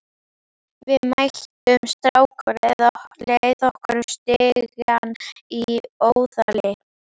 Við mættum strák á leið okkar upp stigann í Óðali.